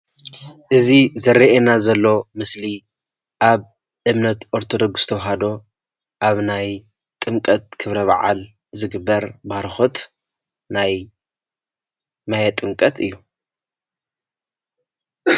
እዚ ዝርአየና ዘሎ ምስሊ ኣብ እምነት ኦርቶዶክስ ተዋህዶ ኣብ ናይ ጥምቀት ክብረ በዓል ዝግበር ባርኮት ናይ ጥምቀት እዩ፡፡